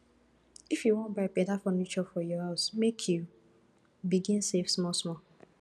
if you wan buy beta furniture for your house make you begin save smallsmall